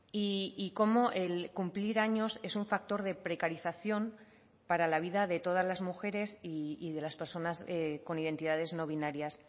y cómo el cumplir años es un factor de precarización para la vida de todas las mujeres y de las personas con identidades no binarias